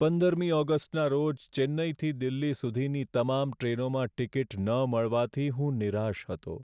પંદરમી ઓગસ્ટના રોજ ચેન્નઈથી દિલ્હી સુધીની તમામ ટ્રેનોમાં ટિકિટ ન મળવાથી હું નિરાશ હતો.